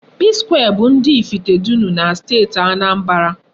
Psquare bụ ndị Ifitedunu na Steeti Anambra.